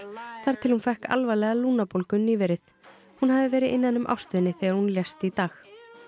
þar til hún fékk alvarlega lungnabólgu nýverið hún hafi verið innan um ástvini þegar hún lést í dag